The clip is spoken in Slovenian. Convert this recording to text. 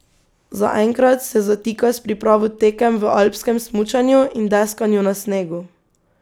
Zaenkrat se zatika s pripravo tekem v alpskem smučanju in deskanju na snegu.